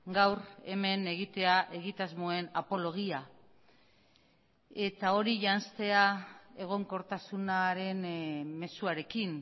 gaur hemen egitea egitasmoen apologia eta hori janztea egonkortasunaren mezuarekin